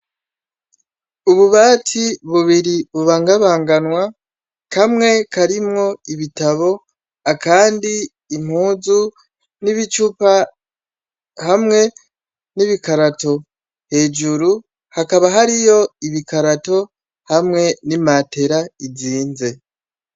Ububati bubiri bubangabanganwa kamwe karimwo ibitabo akandi impuzu nibicupa hamwe nibikarato hejuru hakaba hariyo ibikarato hamwe ni matera izinze.